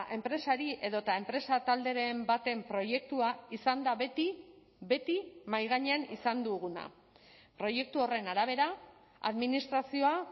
enpresari edota enpresa talderen baten proiektua izan da beti beti mahai gainean izan duguna proiektu horren arabera administrazioa